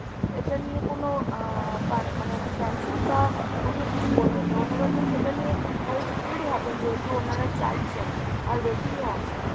এটা নিয়ে কোনো আহ মানে cancel বা অন্য কিছু করবেন না। ওনারা তো সেটা নিয়ে helpful ই হবেন যেহেতু ওনারা চাইছেন আর waiting এ আছেন।